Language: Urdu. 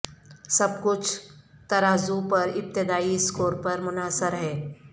سب کچھ ترازو پر ابتدائی اسکور پر منحصر ہے